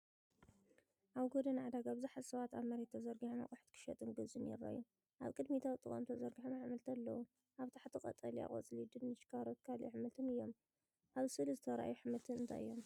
ኣብ ጎደና ዕዳጋ ብዙሓት ሰባት ኣብ መሬት ተዘርጊሖም ኣቑሑት ክሸጡን ክገዝኡን ይረኣዩ። ኣብ ቅድሚት ኣብ ጥቓኦም ተዘርጊሖም ኣሕምልቲ ኣለዉ፤ ኣብ ታሕቲ ቀጠልያ ቆጽሊ፡ ድንሽ፡ ካሮትን ካልእ ኣሕምልትን እዮም። ኣብ ስእሊ ዝተርኣዩ ኣሕምልቲ እንታይ እዮም?